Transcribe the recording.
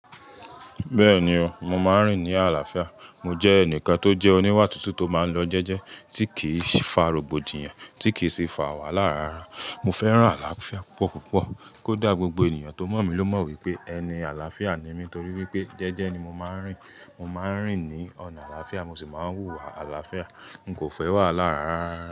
Bẹ́ẹ̀ni o, mo máa ń rìn ní àlàáfíà. Mo jẹ́ ẹnìkan tó jẹ́ oníwà tútù tó máa ń lọ jẹ́jẹ́ tí kì í fa rògbòdìyàn, tí kì í sì fa wàhálà rara. Mo fẹ́ràn àlàáfíà púpọ̀ púpọ̀, kó dà gbogbo ènìyàn tó mọ̀ mí ló mọ̀ wípé ẹni àlàáfíà ni mí torí wípé jẹ́jẹ́ ni mo máa ń rìn. Mo máa ń rìn ní ọ̀nà àlàáfíà, mo sì máa ń hùwà àlàáfíà. N kò fẹ́ wàhálà rara.